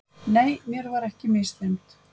Nei, mér var ekki misþyrmt.